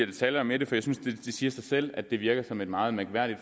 detaljer med det for jeg synes det siger sig selv at det virker som et meget mærkværdigt